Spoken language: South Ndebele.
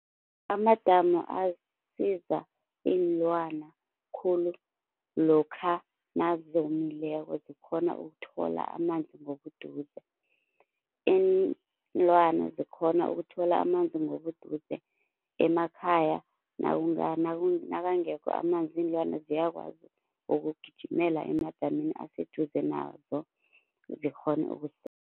Amadamu asiza iinlwana khulu lokha nazomileko zikhona ukuthola amanzi ngobuduze. Iinlwana zikhona ukuthola amanzi ngobuduze emakhaya nakangekho amanzi iinlwana ziyakwazi ukugijimela emadamini aseduze nazo zikghone ukusela